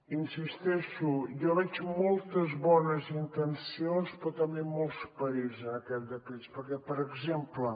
hi insisteixo jo hi veig moltes bones intencions però també molts perills en aquest decret perquè per exemple